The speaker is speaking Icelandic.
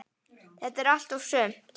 Þetta er allt og sumt